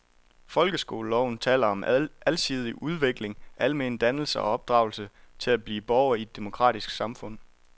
Folkeskoleloven taler om alsidig udvikling, almen dannelse og opdragelse til at blive borger i et demokratisk samfund.